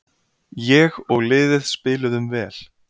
Ég og liðið spiluðum vel.